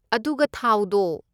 ꯑꯗꯨꯒ ꯊꯥꯎꯗꯣ!